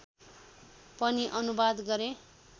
पनि अनुवाद गरे